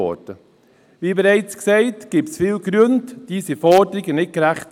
Weshalb diese Forderungen nicht gerecht sind, dafür gibt es viele Gründe, wie bereits gesagt.